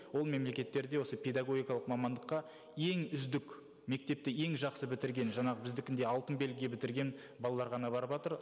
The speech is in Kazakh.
ол мемлекеттерде осы педагогикалық мамандыққа ең үздік мектепті ең жақсы бітірген жаңағы біздікіндей алтын белгіге бітірген балалар ғана барыватыр